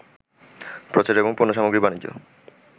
প্রচার এবং পণ্যসামগ্রীর বাণিজ্য